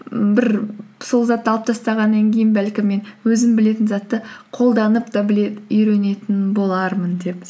бір сол затты алып тастағаннан кейін бәлкім мен өзім білетін затты қолданып та үйренетін болармын деп